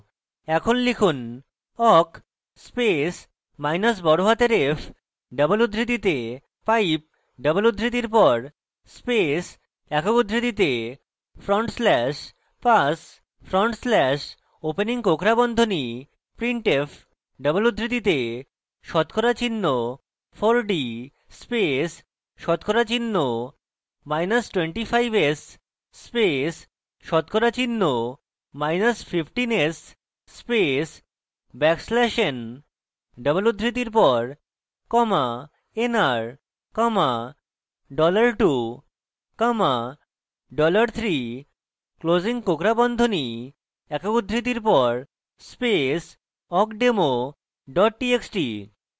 এখন লিখুন awk space minus বড়হাতের f double উদ্ধৃতিতে pipe double উদ্ধৃতির pass space awk উদ্ধৃতিতে front slash pass front slash opening কোঁকড়া বন্ধনী printf double উদ্ধৃতিতে শতকরা চিহ্ন 4d space শতকরা চিহ্ন মাইনাস 25s space শতকরা চিহ্ন minus 15s space backslash n double উদ্ধৃতির pass nr $2 $3 closing কোঁকড়া বন্ধনী awk উদ্ধৃতির pass space awkdemo double txt